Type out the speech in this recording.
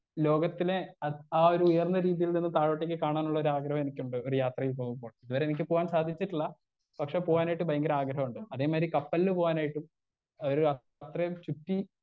Speaker 1 ലോകത്തിനെ ആ ആ ഒരു ഉയർന്ന രീതീൽ നിന്നും താഴോട്ടേക്ക് കാണാനുള്ളൊരു ആഗ്രഹം എനിക്കുണ്ട് ഒരു യാത്രയിൽ പോകുമ്പോൾ ഇത് വരെ എനിക്ക് പോകാൻ സാധിച്ചിട്ടില്ല പക്ഷെ പോകാനായിട്ട് ഭയങ്കര ആഗ്രഹമുണ്ട് അതേപോലെ കപ്പലില് പോകാനായിട്ടും ഒരു അത്രേം ചുറ്റി.